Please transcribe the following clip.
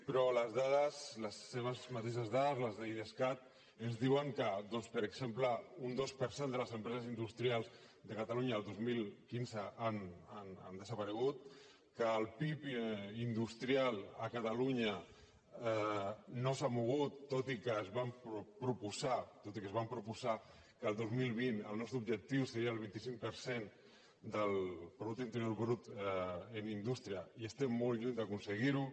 però les dades les seves mateixes dades les d’idescat ens diuen que doncs per exemple un dos per cent de les empreses industrials de catalunya el dos mil quinze han desaparegut que el pib industrial a catalunya no s’ha mogut tot i que ens vam proposar que el dos mil vint el nostre objectiu seria el vint cinc per cent del producte interior brut en indústria i estem molt lluny d’aconseguir ho